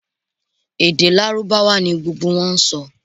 Èdè lárúbáwá ni gbogbo wọn n sọ